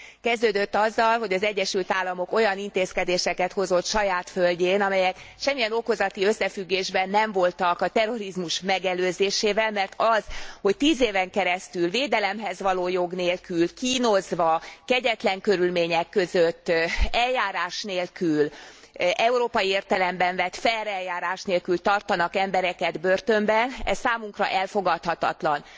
Kezdődött azzal, hogy az Egyesült Államok olyan intézkedéseket hozott saját földjén, amelyek semmilyen okozati összefüggésben nem voltak a terrorizmus megelőzésével, mert az, hogy tíz éven keresztül védelemhez való jog nélkül kínozva, kegyetlen körülmények között, eljárás nélkül európai értelemben vett fair eljárás nélkül tartanak embereket börtönben, ez számunkra elfogadhatatlan.